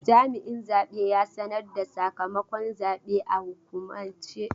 Jami'in zabe ya sanar da sakamakon zabe a hukumance.